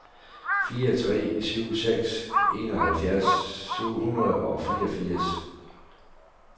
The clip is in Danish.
fire tre syv seks enoghalvfjerds syv hundrede og fireogfirs